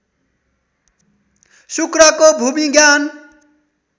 शुक्रको भूविज्ञान